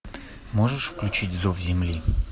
можешь включить зов земли